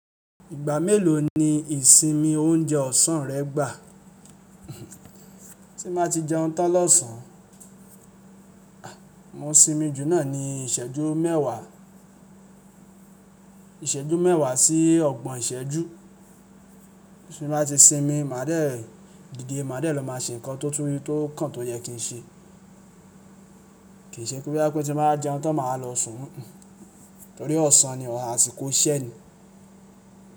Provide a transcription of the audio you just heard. Ìgbà mélòó ni ìsinmi oúnjẹ ọ̀sán rẹ gbà? Tí n ba ti jẹun tán lọ́sàn án, mo sinmi jù náà ní ìsẹ́jú mẹ́wàá, ìsẹ́jú mẹ́wàá sí ọgbọ̀n ìsẹ́jú tí mo bá ti sinmi, máa dẹ̀, dide máa dẹ̀ lọ máa ṣe nǹkan tó tún tó kàn tó yẹ kí n ṣe. Kì í ṣe pé boya pé tí mo bá jẹun tán máa wa lọ sùn, torí ọ̀sán ni, àsìkò iṣẹ ni.